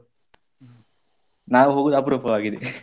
ನಾವು ಹೋಗುವುದು ಅಪ್ರೂಪವಾಗಿದೆ .